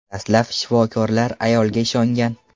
Dastlab shifokorlar ayolga ishongan.